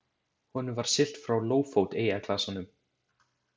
Honum var siglt frá Lófót eyjaklasanum.